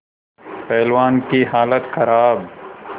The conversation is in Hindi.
पहलवान की हालत खराब